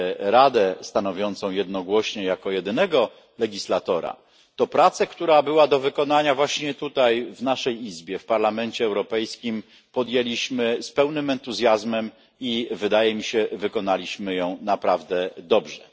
Radę stanowiącą jednogłośnie jako jedynego prawodawcę, to pracę, która była do wykonania właśnie tutaj w naszej Izbie, w Parlamencie Europejskim, podjęliśmy z pełnym entuzjazmem i wydaje mi się wykonaliśmy ją naprawdę dobrze.